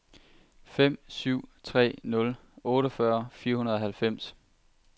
fem syv tre nul otteogfyrre fire hundrede og halvfems